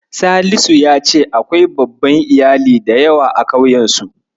Salisu ya ce akwai babban Iyali da yawa a ƙauyensu.